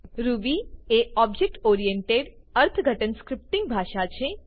Ruby એ object oriented અર્થઘટન scripting ભાષા છે